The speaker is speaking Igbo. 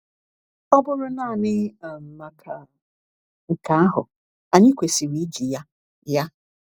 Ọ bụrụ naanị um maka nke ahụ, anyị kwesịrị iji ya. ya.